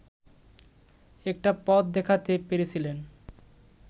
একটা পথ দেখাতে পেরেছিলেন